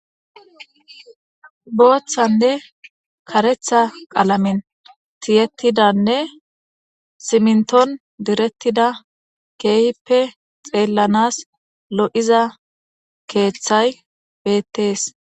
Booththanne karetha qalamen tiyettidanne siminton direttida keehippe xeellanas lo'iza keeththay beettees.